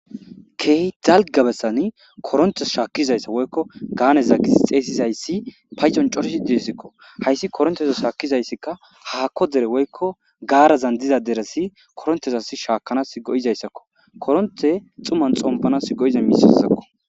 Keehi dalgga bessani koronththes shaakkizayssa woykko gaaneza gizi xeesizayssi paycon corizi deessikko; hayssi korontheza shaakizayssikka haakko dere woykko gaarazan diza deressi koronthes as shaakanas go7izayssakko; koronththe xuman xomppanas go7iza miisessezakko.